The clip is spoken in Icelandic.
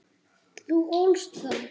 Þú ólst þá.